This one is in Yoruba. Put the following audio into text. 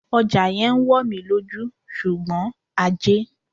Ọjà yẹn ń wò mí lójú, ṣùgbọ́n ajé.